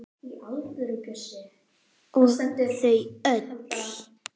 Og þau öll.